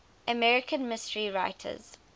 american mystery writers